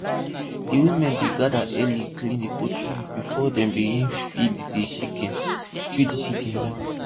di women dey gather early clean di poultry before dem begin dey feed di chicken feed di chicken dem